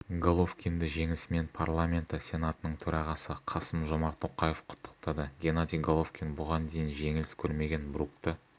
головкинді жеңісімен парламенті сенатының төрағасы қасым-жомарт тоқаев құттықтады геннадий головкин бұған дейін жеңіліс көрмеген брукті